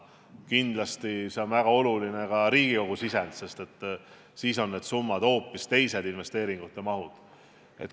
Kindlasti on väga oluline ka Riigikogu sisend, sest siis on need summad, investeeringute mahud hoopis teised.